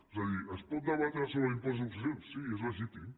és a dir es pot debatre sobre l’impost de successions sí és legítim